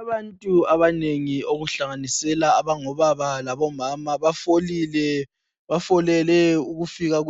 Abantu abanengi okuhlanganisela abangobaba labomama bafolile befolele